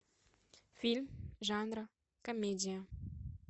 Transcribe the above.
фильм жанра комедия